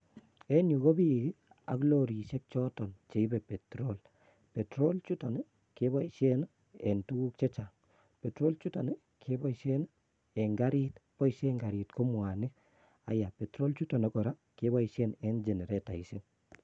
Enyu kobik[ii] ak lorisiek choton cheibe petrol. Petrol chuton[ii] keboisien en tuguk chechang. Petrol chuton keboisien eng karit, boisien eng karit ko mwanik. Haiya petrol chotun kora keboisie eng generetaisiek.